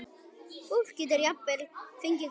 Fólk getur jafnvel fengið gulu.